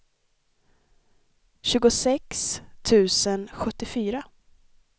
tjugosex tusen sjuttiofyra